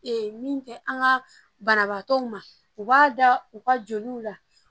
min tɛ an ka banabaatɔw ma u b'a da u ka joliw la